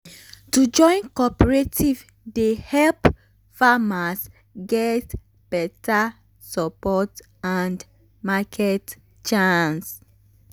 to join cooperative dey help farmers get beta support and market chance.